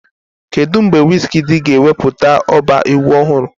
Kedu mgbe Wizkidii ga-ewepụta ọba egwu ọhụrụ?